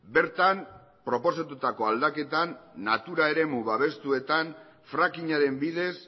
bertan proposatutako aldaketan natura eremu babestuetan frackingaren bidez